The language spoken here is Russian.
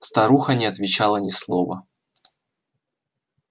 старуха не отвечала ни слова